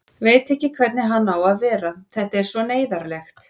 Veit ekki hvernig hann á að vera, þetta er svo neyðarlegt.